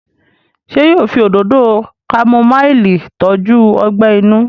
ṣe yíò fí Òdòdó kámúmáìlì tọjú ogbè inú?